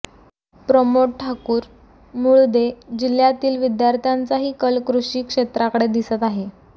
प्रमोद ठाकुर मुळदे ः जिल्हय़ातील विद्यार्थ्यांचाही कल कृषी क्षेत्राकडे दिसत आहे